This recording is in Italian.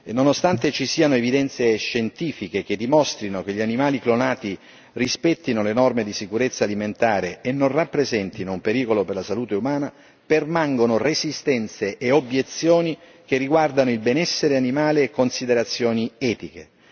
Nonostante ci siano evidenze scientifiche che dimostrano che gli animali clonati rispettano le norme di sicurezza alimentare e non rappresentano un pericolo per la salute umana, permangono resistenze e obiezioni che riguardano il benessere animale e considerazioni etiche.